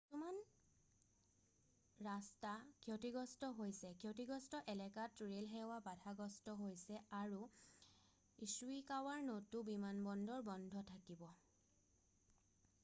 কিছুমান ৰাস্তা ক্ষতিগ্ৰস্ত হৈছে ক্ষতিগ্ৰস্ত এলেকাত ৰেলসেৱা বাধাগ্ৰস্ত হৈছে আৰু ইশ্বিকাৱাৰ নটো বিমানবন্দৰ বন্ধ থাকিব